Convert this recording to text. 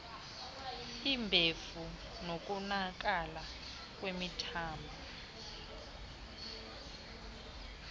umbefu nokonakala kwemithambo